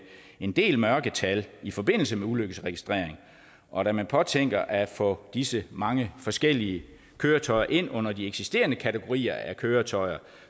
en del mørketal i forbindelse med ulykkesregistrering og da man påtænker at få disse mange forskellige køretøjer ind under de eksisterende kategorier af køretøjer